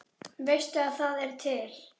Veistu að það er til?